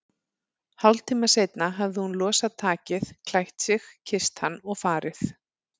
Hálftíma seinna hafði hún losað takið, klætt sig, kysst hann og farið.